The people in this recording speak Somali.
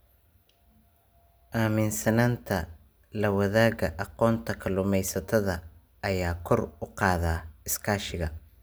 Aaminsanaanta la wadaaga aqoonta kalluumaysatada ayaa kor u qaada iskaashiga.